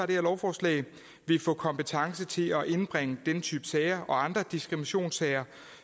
det her lovforslag vil få kompetence til at indbringe den type sager og andre diskriminationssager